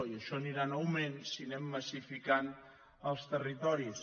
i això anirà en augment si anem massificant els territoris